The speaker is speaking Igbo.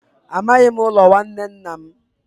Amaghị m ụlọ nwanne nna m.